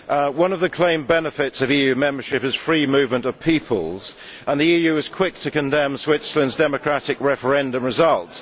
One of the claimed benefits of EU membership is free movement of peoples, and the EU is quick to condemn Switzerland's democratic referendum results.